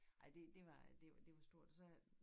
Ej det det var det det var stort så